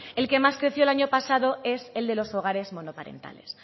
el que más creció el año pasado es el de los hogares monoparentales